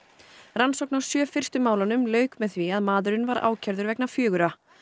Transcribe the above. rannsókn á sjö fyrstu málunum lauk með því að maðurinn var ákærður vegna fjögurra